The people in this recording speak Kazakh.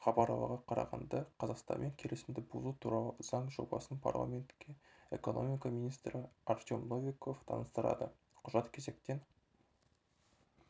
хабарларларға қарағанда қазақстанмен келісімді бұзу туралы заң жобасын парламентке экономика министрі артем новиков таныстырады құжат кезектен